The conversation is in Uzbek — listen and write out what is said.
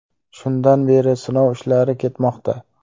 Shundan beri sinov ishlari ketmoqda.